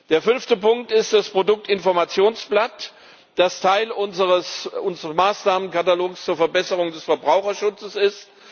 Der fünfte Punkt ist das Produktinformationsblatt, das Teil unseres Maßnahmenkatalogs zur Verbesserung des Verbraucherschutzes ist.